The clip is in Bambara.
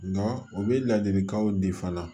Nga u bɛ ladilikanw di fana